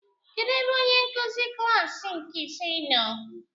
Kedụ ebe onyenkụzi klaasị nke ise nọ?